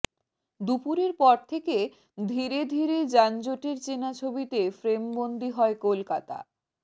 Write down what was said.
দুপুরের পর থেকে ধীরে ধীরে যানজটের চেনা ছবিতে ফ্রেমবন্দি হয় কলকাতা